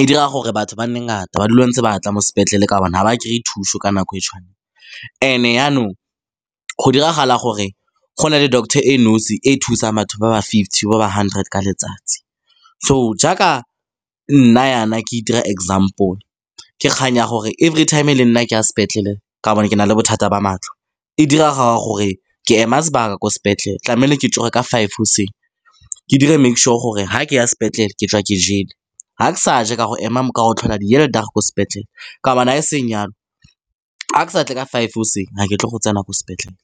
e dira gore batho ba nne ngata, ba dule ntse ba tla mo sepetlele ka gonne ga ba kry-e thuso ka nako e tshwanang. And-e jaanong go diragala gore go na le doctor e nosi e e thusang batho ba ba fifty, ba ba hundred ka letsatsi. So, jaaka nna jaana, ke itira example, ke kgang ya gore every time le nna ke a sepetlele ka gobane ke na le bothata ba matlho. E direga gore ke ema sebaka ko sepetlele. Tlamehile ke tsoge ka five goseng, ke dire make sure gore ga ke ya sepetlele ke tswa ke jele, ga ke sa ja ka go tlhola die hele dag ko sepetlele ka gobane e seng yalo, ga ke sa tle ka five goseng, ga ke tle go tsena ko sepetlele.